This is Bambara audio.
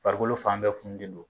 Farikolo fan bɛɛ fununen don